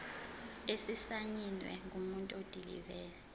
esisayinwe ngumuntu odilive